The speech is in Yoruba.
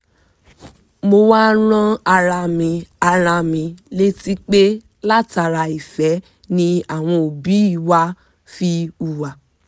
mo wá rán ara mi ara mi létí pé látara ìfẹ́ ni àwọn òbí wa fi hùwà